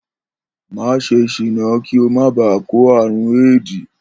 Má s̩e s̀iná kí o má baà kó àrùn éèdì